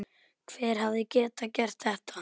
Hver hefði getað gert þetta?